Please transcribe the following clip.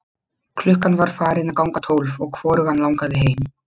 Klukkan var farin að ganga tólf og hvorugan langaði heim.